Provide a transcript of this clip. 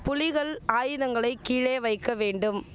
புலிகள் ஆயுதங்களை கீழே வைக்க வேண்டும்